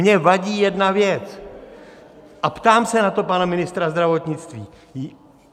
Mně vadí jedna věc a ptám se na to pana ministra zdravotnictví.